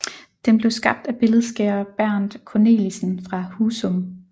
Den blev skabt af billedskærer Berend Cornelissen fra Husum